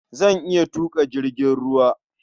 Zan iya tuƙa jirgin ruwa.